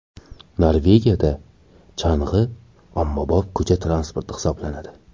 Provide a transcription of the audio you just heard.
Norvegiyada chang‘i ommabop ko‘cha transporti hisoblanadi.